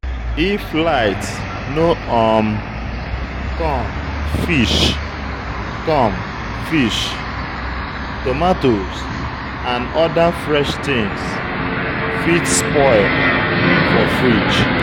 If light no um come, fish, come, fish, tomatoes and oda fresh things fit spoil for fridge